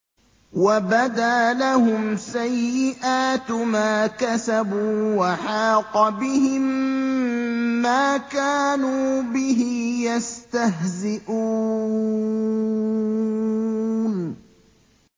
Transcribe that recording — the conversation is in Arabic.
وَبَدَا لَهُمْ سَيِّئَاتُ مَا كَسَبُوا وَحَاقَ بِهِم مَّا كَانُوا بِهِ يَسْتَهْزِئُونَ